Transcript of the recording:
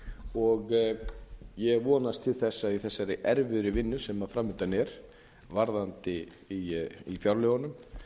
og ég vonast til þess að í þessari erfiðu vinnu sam fram undan er í fjárlögunum